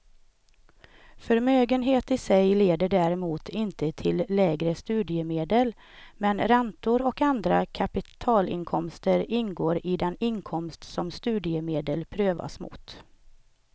Förmögenhet i sig leder däremot inte till lägre studiemedel, men räntor och andra kapitalinkomster ingår i den inkomst som studiemedel prövas mot.